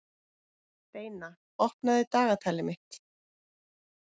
Steina, opnaðu dagatalið mitt.